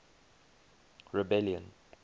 rebellion